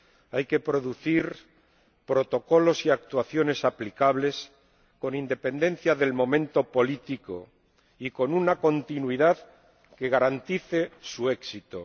Hay que producir protocolos y actuaciones aplicables con independencia del momento político y con una continuidad que garantice su éxito.